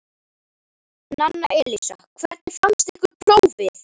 Nanna Elísa: Hvernig fannst ykkur prófið?